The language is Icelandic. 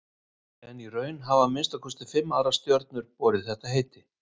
En í raun hafa að minnsta kosti fimm aðrar stjörnur borið þetta heiti.